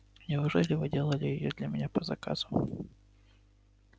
неужели вы делали её для меня по заказу